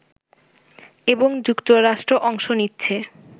এবং যুক্তরাষ্ট্র অংশ নিচ্ছে